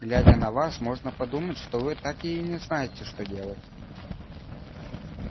глядя на вас можно подумать что вы так и не знаете что делать